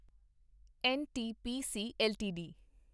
NTPC LTD